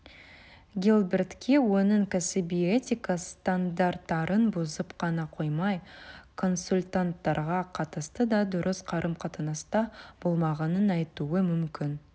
гилбертке оның кәсіби этика стандарттарын бұзып қана қоймай консультанттарға қатысты да дұрыс қарым-қатынаста болмағанын айтуы мүмкін